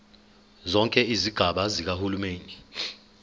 zonke izigaba zikahulumeni